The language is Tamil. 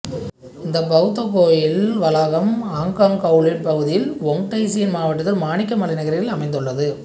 இந்த பௌத்த கோயில் வளாகம் ஹொங்கொங் கவுலூன் பகுதியில் வொங் டயி சின் மாவட்டத்தில் மாணிக்க மலை நகரில் அமைந்துள்ளது